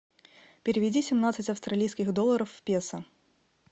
переведи семнадцать австралийских долларов в песо